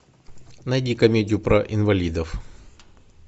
найди комедию про инвалидов